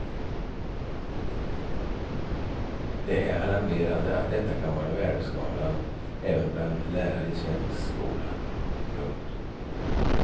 Det är alarmerande att detta kan vara värdeskalan även bland lärare i en svensk skola. punkt